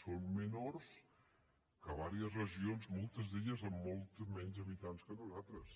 són menors que en diverses regions moltes amb molts menys habitants que nosaltres